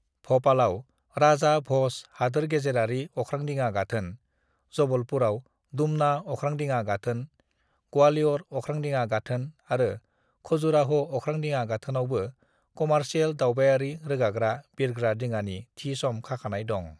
"भपालआव राजा भज हादोरगेजेरारि अख्रांदिङा गाथोन, जबलपुरआव दुमना अख्रांदिङा गाथोन, ग्वालियर अख्रांदिङा गाथोन आरो खजुराह' अख्रांदिङा गाथोनावबो कमार्सियेल दावबायारि रोगाग्रा बिरग्रा दिङानि थि सम खाखानाय दं।"